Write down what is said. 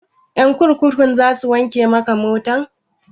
Ƴan kurkukun za su wanke maka mota?